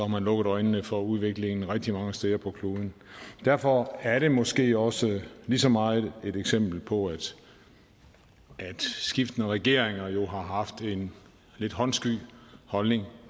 man lukket øjnene for udviklingen rigtig mange steder på kloden derfor er det måske også lige så meget et eksempel på at skiftende regeringer jo har haft en lidt håndsky holdning